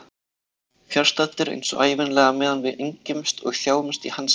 Fjarstaddur eins og ævinlega meðan við engjumst og þjáumst í hans nafni.